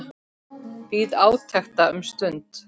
Bíð átekta um stund.